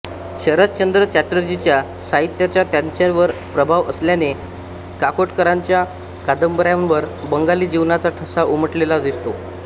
शरदचंद्र चटर्जींच्या साहित्याचा त्यांच्यावर प्रभाव असल्याने काकोडकरांच्या कादंबऱ्यांवर बंगाली जीवनाचा ठसा उमटलेला दिसतो